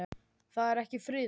Það er ekki friðað.